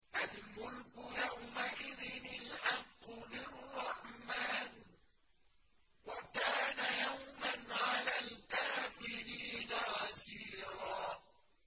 الْمُلْكُ يَوْمَئِذٍ الْحَقُّ لِلرَّحْمَٰنِ ۚ وَكَانَ يَوْمًا عَلَى الْكَافِرِينَ عَسِيرًا